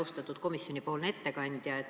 Austatud komisjoni ettekandja!